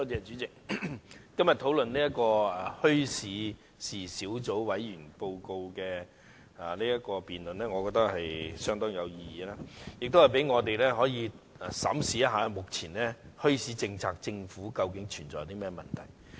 主席，今天就墟市事宜小組委員會的報告進行的議案辯論，我覺得相當有意義，可以讓我們審視一下政府的現行墟市政策究竟存在甚麼問題。